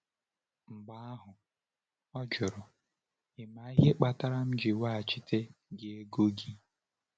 Mgbe ahụ, ọ jụrụ: “Ị ma ihe kpatara m ji weghachite gị ego gị?”